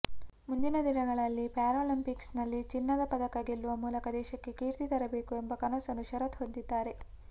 ಮುಂದಿನ ದಿನಗಳಲ್ಲಿ ಪ್ಯಾರಾಲಂಪಿಕ್ಸ್ನಲ್ಲಿ ಚಿನ್ನದ ಪದಕ ಗೆಲ್ಲುವ ಮೂಲಕ ದೇಶಕ್ಕೆ ಕೀರ್ತಿ ತರಬೇಕು ಎಂಬ ಕನಸನ್ನು ಶರತ್ ಹೊಂದಿದ್ದಾರೆ